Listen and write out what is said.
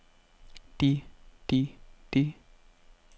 de de de